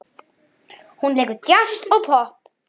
Hún leikur djass og popp.